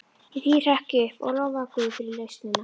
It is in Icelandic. Í því hrökk ég upp og lofaði guð fyrir lausnina.